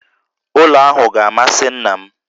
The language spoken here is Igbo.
Ụlọ ahụ ga-amasị nna m